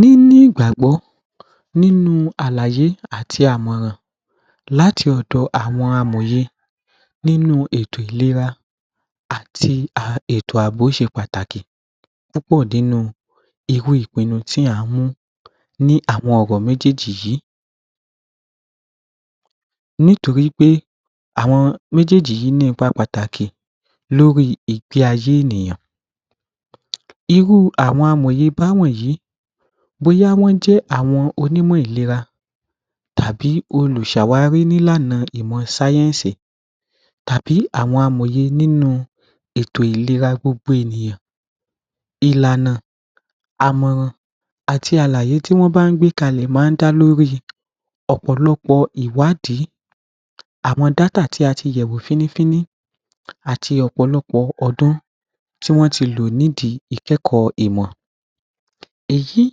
Nínú ìgbàgbọ́, nínú àlàyé àti àmọ̀ràn láti ọ̀dọ àwọn amọ̀ye nínú ètò ìlera àti um ètò àbò ṣe pàtàkì. Púpọ̀ nínú irú ìpinnu tí à ń mú ní àwọn ọ̀rọ̀ méjèèjì yìí nítorí pé àwọn méjèèjì yìí ní ipa pàtàkì lórí ìgbé ayé ènìyàn um irú àwọn amòye bá wọ̀nyí, bóyá wọ́n jẹ́ àwọn onímọ̀ ìlera tàbí olùṣàwárí n’ílànà ìmọ̀ sáyẹ́nsì tàbí àwọn amòye nínú ètò ìlera gbogbo ènìyàn. Ìlànà àmọ̀ràn àti àlàyé tí wọ́n bá gbé kalẹ̀ máa ń dá lórí ọ̀pọ̀lọpọ̀ ìwádìí àwọn data tí a ti yẹ̀ wò fínnífínní àti ọ̀pọ̀lọpọ̀ ọdún tí wọ́n ti lò nídi ìkẹ́kọ̀ọ́ ìmọ̀. Èyí ń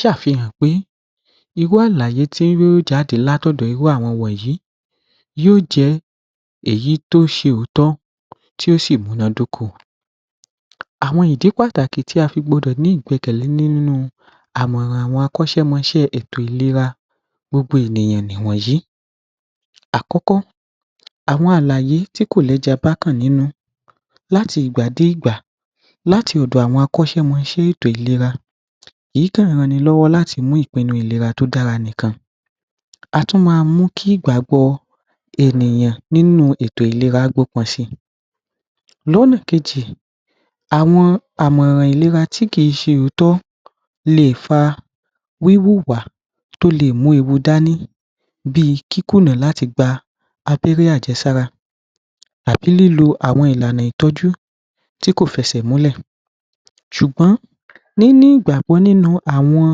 ṣàfihàn pé irú àlàyé tí yó jáde lát’ọ̀dọ̀ irú àwọn wọ̀nyí yó jẹ́ èyí tó ṣe òótọ́ tí ó sì múná d’óko. Àwọn ìdí pàtàkì tí a fi gbọdọ̀ ní ìgbẹ́kẹ̀lé nínú àmọ̀ràn àwọn akọ́ṣẹ́mọṣẹ́ ètò ìlera gbogbo ènìyàn nì wọ̀nyí. Àkọ́kọ́, àwọn àlàyé tí kò lẹ́ja n bákàn nínú láti ìgbà dé ìgbà, láti ọ̀dọ̀ àwọn akọ́ṣẹ́mọṣẹ́ ètò ìlera èyí tó ń ran ni lọ́wọ́ láti mú ìpinnu ìlera tó dára nìkan. A tún máa mú kí ìgbàgbọ ènìyàn nínú ètò ìlera si. Lọ́nà kejì, àwọn àmọ̀ràn ìlera tí kì í ṣe òótọ̀ le è fa wíwùwà tó le è mú ewu dání bí i kíkùnà láti gba abẹ́rẹ́ àjẹsára àbí lílò àwọn ìlànà ìtọ́jú tí kò fẹsẹ̀ múlẹ̀. ṣùgbọ́n, níní ìgbàgbọ́ nínú àwọn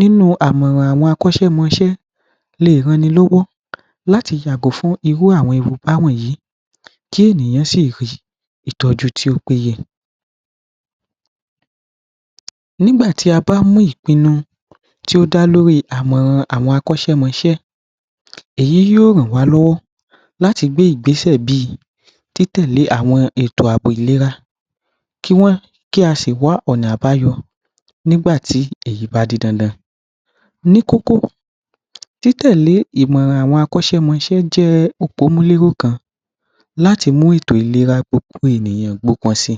nínú àmọ̀ràn àwọn akọ́ṣẹ́mọṣẹ́ lè ran ni lọ́wọ́ láti yàgò fún irú àwọn ewu bá wọ̀nyí kí ènìyàn sì rí ìtọ́jú tí ó péye. Nígbà tí a bá mú ìpinnu tí ó dá lórí ìmọ̀ràn àwọn akọ́ṣẹ́mọṣẹ́, èyí yó ràn wá lọ́wọ́ láti gbé ìgbésẹ̀ bí i títẹ̀lé àwọn ètò àbò ìlera kí wọ́n kí a sì wá ọ̀nà àbáyọ nígbà tí èyí bá di dandan. Ní kókó, títẹ̀lé ìmọ̀ràn àwọn akọ́ṣẹ́mọṣẹ́ jẹ́ òpómúléró kan láti mú ètò ìlera gbogbo ènìyàn si.